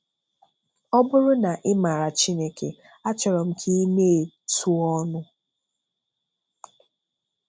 Ọ bụrụ na ị maara Chineke, achọ̀rọ̀ m ka ị na-ètu ọ̀nụ.